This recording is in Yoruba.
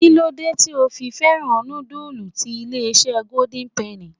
Kí ló dé tí ò fi fẹ́ràn nudulu ti ilé-isé golden penny?